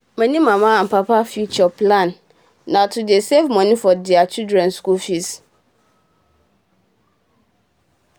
many papa and mama future plan na to dey safe moni for deir pikin school fees